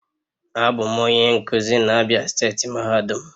Abum onye nkuzi na Abia steeti mahadum